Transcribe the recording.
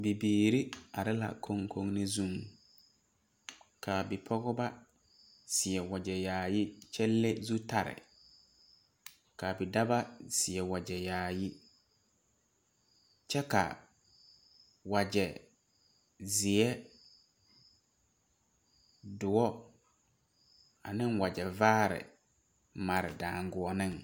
Bibiiri are la koŋkonezuŋ ka bipɔgeba seɛ wagyɛ yaayi kyɛ le zutare ka ka wagyɛ zeɛ doɔ ane wagyɛ vaare mare daŋgoɔneŋ